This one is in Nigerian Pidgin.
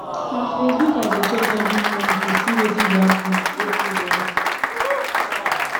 na facebook i dey check every morning to see wetin dey happen wetin dey happen